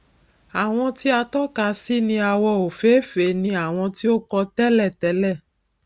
àwọn tí a tọka sí ní àwọ òfééfèé ni àwọn tí o ti kọ tẹlẹ tẹlẹ